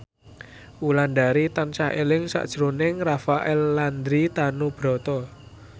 Wulandari tansah eling sakjroning Rafael Landry Tanubrata